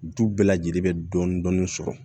Du bɛɛ lajɛlen bɛ dɔɔnin-dɔɔnin sɔrɔ